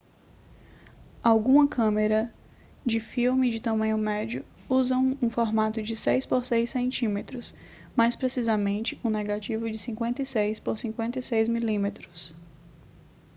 algumas câmeras de filme de tamanho médio usam um formato de 6 por 6 cm mais precisamente um negativo de 56 por 56 mm